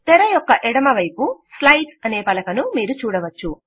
తెర యొక్క ఎడమవైపు స్లైడ్స్ అనే పలక మీరు చూడవచ్చు